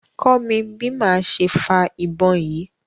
kọ́ mí bi máa ṣe fa ìbọn yìí!